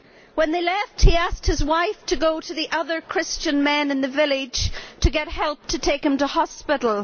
When they left he asked his wife to go to the other Christian men in the village to get help to take him to hospital.